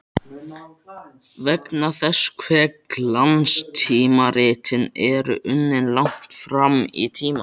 Vegna þess hve glanstímaritin eru unnin langt fram í tímann.